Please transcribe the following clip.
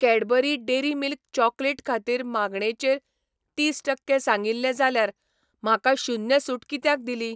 Cadbury Dairy Milk chocolate खातीर मागणेचेर तीस टक्के सांगिल्लें जाल्यार म्हाका शून्य सूट कित्याक दिली ?